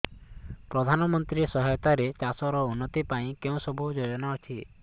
ପ୍ରଧାନମନ୍ତ୍ରୀ ସହାୟତା ରେ ଚାଷ ର ଉନ୍ନତି ପାଇଁ କେଉଁ ସବୁ ଯୋଜନା ଅଛି